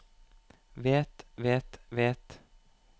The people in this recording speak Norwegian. vet vet vet